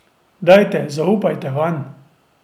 Dajte, zaupajte Vanj.